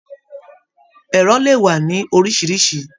Ẹrọ lè wà ní oríṣiríṣi.